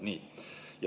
Nii.